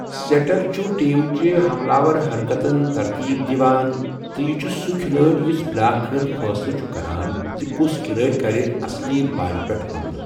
سٮ۪ٹر چھُ ٹیم چہِ ہملٕآور حرکتن ترتیٖب دِوان تہٕ یہِ چھُ سہُ کھلٲڑِ یُس بالآخر فٲصلہٕ چھُ کران زِ کُس کھِلٲڑِ کرِ اصلی بالہِ پٮ۪ٹھ حملہٕ۔